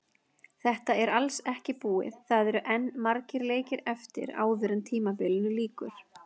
Þetta er alls ekki búið, það eru enn margir leikir eftir áður en tímabilinu lýkur.